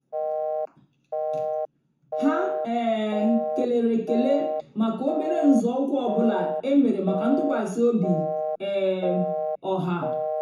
há um kélèrè ékélè màkà óbérè nzọ́ụ́kwụ́ ọ́ bụ́lá é mèrè màkà ntụ́kwasị́ óbí um ọ́há.